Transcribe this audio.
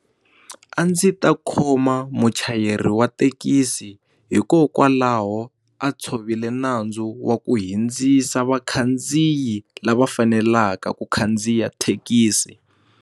A ndzi ta khoma muchayeri wa thekisi hikokwalaho a tshovile nandzu wa ku hindzisa vakhandziyi lava fanelaka ku khandziya thekisi.